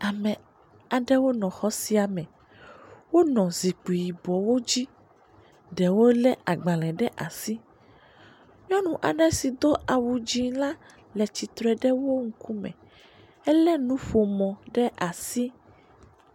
Ame aɖewo nɔ xɔ sia me. Wonɔ zikpui yibɔwo dzi. Ɖewo le agbale ɖe asi, nyɔnu aɖe si do awu dzi la le tsitre ɖe wo ŋkume. Ele nuƒomɔ ɖe asi.